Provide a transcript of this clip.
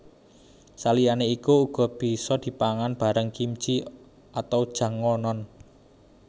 Saliyane iku uga bisa dipangan bareng kimchi atau jangonon